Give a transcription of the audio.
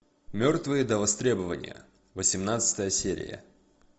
мертвые до востребования восемнадцатая серия